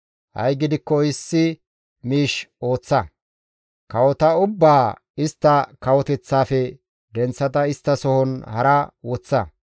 Ha7i gidikko issi miish ooththa; kawota ubbaa istta kawoteththaafe denththada isttasohon hara woththa.